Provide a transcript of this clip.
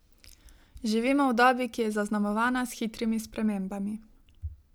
Živimo v dobi, ki je zaznamovana s hitrimi spremembami.